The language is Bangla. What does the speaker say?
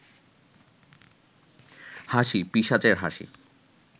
হাসি পিশাচের হাসি